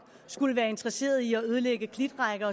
skulle være interesseret i at ødelægge klitrækker